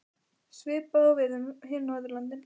Svipað á við um hin Norðurlöndin.